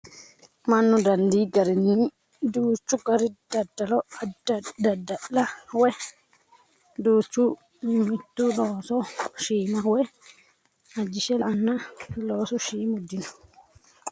Mannu dandii garinni duuchu gari daddalo daddala woyi duuchu dani looso loosa dandaanno. Qoleno manni mito looso shiima woyi ajishe la'annona loosu shiimu dino.